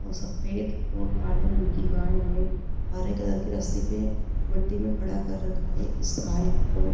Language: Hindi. और सफेद और काले रंग की गाय है हरे कलर की रस्सी पे मिट्टी में खड़ा कर रखा है इस गाय को।